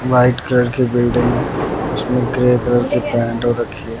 White colour की building है उसमें ग्रे कलर की पैंट हो रखी हैं।